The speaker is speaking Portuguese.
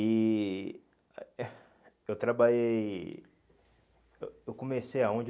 E eu trabalhei, eu eu comecei aonde?